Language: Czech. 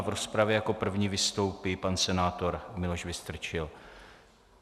A v rozpravě jako první vystoupí pan senátor Miloš Vystrčil.